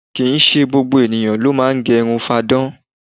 Kì í ṣe gbogbo ènìyàn ló máa ń gẹ irun fáadán